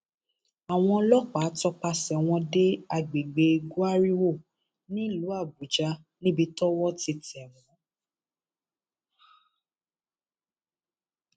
àwọn ọlọpàá tọpasẹ wọn dé àgbègbè gwariwo nílùú àbújá níbi tọwọ ti tẹ wọn